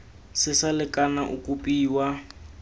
se sa lekana o kopiwa